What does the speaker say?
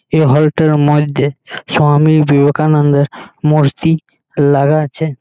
এই হল টার মধ্যে স্বামী বিবেকানন্দের মূর্তি লাগা আছে।